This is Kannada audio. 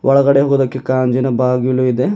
ಒಳಗಡೆ ಹೋದಕೆ ಗಾಜಿನ ಬಾಗಿಲು ಇದೆ.